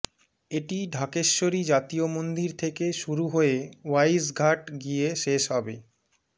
এটি ঢাকেশ্বরী জাতীয় মন্দির থেকে শুরু হয়ে ওয়াইজঘাট গিয়ে শেষ হবে